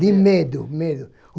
De medo, medo.